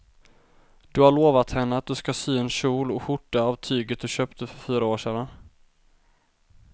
Du har lovat henne att du ska sy en kjol och skjorta av tyget du köpte för fyra år sedan.